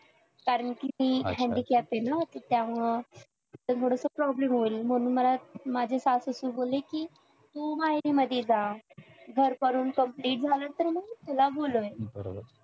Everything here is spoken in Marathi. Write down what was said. कारण कि ती handicap आहे ना त्यामुळं थोडंसं problem होईल म्हणून मला माझी सासू बोलली कि तू माहेरीमधी जा घर करुन complete झालं तर मग तुला बोलवीन